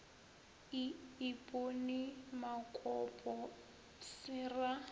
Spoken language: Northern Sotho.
e ipone makopo se ra